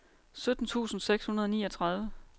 sytten tusind seks hundrede og niogtredive